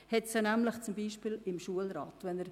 Diese ist zum Beispiel im Schulrat vertreten.